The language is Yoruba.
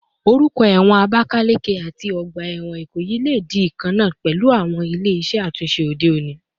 Orúkọ ẹ̀wọ̀n Abakaleke àti ọgbà ẹ̀wọ̀n Ikoyi lè di ìkankan pẹ̀lú àwọn ilé iṣẹ́ àtúnṣe òde òní